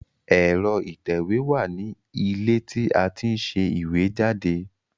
Ẹ̀rọ ìtẹ̀wé wà ní ilé tí a ti ń ṣe ìwé jáde